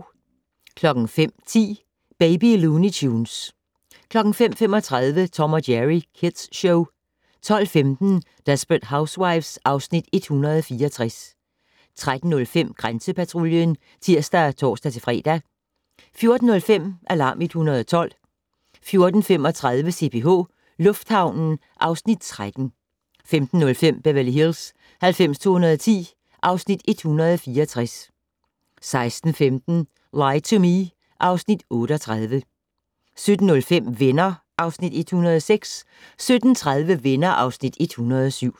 05:10: Baby Looney Tunes 05:35: Tom & Jerry Kids Show 12:15: Desperate Housewives (Afs. 164) 13:05: Grænsepatruljen (tir og tor-fre) 14:05: Alarm 112 14:35: CPH Lufthavnen (Afs. 13) 15:05: Beverly Hills 90210 (Afs. 164) 16:15: Lie to Me (Afs. 38) 17:05: Venner (Afs. 106) 17:30: Venner (Afs. 107)